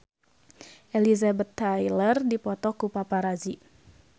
Elizabeth Taylor dipoto ku paparazi